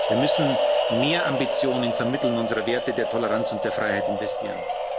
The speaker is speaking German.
Wir müssen mehr Ambitionen vermitteln und in unsere Werte der Toleranz und der Freiheit investieren.